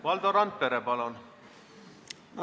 Valdo Randpere, palun!